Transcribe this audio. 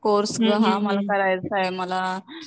course हा मला करायचा आहे, मला